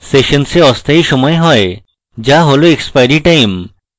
সেশনসে অস্থায়ী সময় হয়যা হল এক্সপাইরী time